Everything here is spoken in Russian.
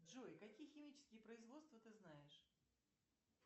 джой какие химические производства ты знаешь